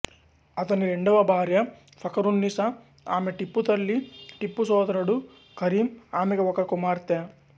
అతని రెండవ భార్య ఫకరున్నీసా ఆమె టిప్పు తల్లి టిప్పు సోదరుడు కరీం ఆమెకు ఒక కుమార్తె